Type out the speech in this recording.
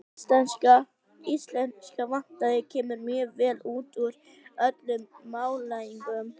Íslenska vatnið kemur mjög vel út úr öllum mælingum.